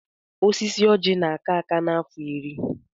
Osisi oji na-aka aka n'afọ iri.